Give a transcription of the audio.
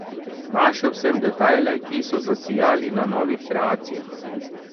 Našel sem detajle, ki so zasijali na novih kreacijah.